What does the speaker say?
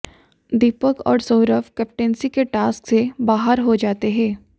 दीपक और सौरभ कैप्टंसी के टास्क से बाहर हो जाते हैं